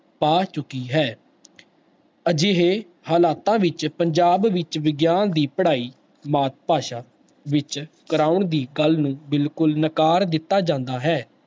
ਪਾ ਚੁੱਕੀ ਹੈ ਅਜਿਹੇ ਹਾਲਾਤਾਂ ਵਿੱਚ ਪੰਜਾਬ ਵਿੱਚ ਵਿਗਆਨ ਦੀ ਪੜ੍ਹਾਈ ਮਾਤ ਭਾਸ਼ਾ ਵਿੱਚ ਕਰਵਾਉਣ ਦੀ ਗੱਲ ਨੂੰ ਬਿਲਕੁਲ ਨਕਾਰ ਦਿੱਤਾ ਜਾਂਦਾ ਹੈ।